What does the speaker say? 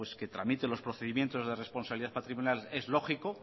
que tramite los procedimientos de responsabilidad patrimonial es lógico